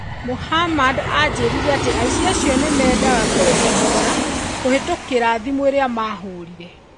Muhammad aanjĩrire atĩ aici acio nĩ meendaga kũrĩhwo thogora kũhĩtũkĩra thimũ iria mahorire.